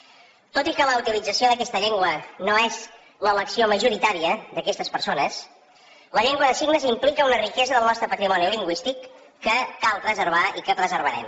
tot i que la utilització d’aquesta llengua no és l’elecció majoritària d’aquestes persones la llengua de signes implica una riquesa del nostre patrimoni lingüístic que cal preservar i que preservarem